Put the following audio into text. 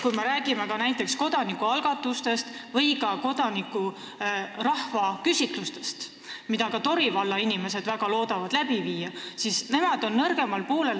Kui me räägime näiteks kodanikualgatustest või rahvaküsitlustest, mida ka Tori valla inimesed väga loodavad läbi viia, siis nemad on nõrgemal poolel.